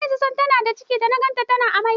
Nayi zaton tana da ciki da naga tana amai.